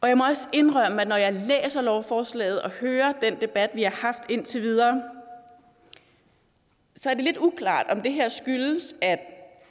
jeg må også indrømme at når jeg læser lovforslaget og hører den debat vi har haft indtil videre så er det lidt uklart om det her skyldes